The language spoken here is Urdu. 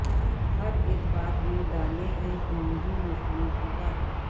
ہر اک بات میں ڈالے ہے ہندو مسلم کی بات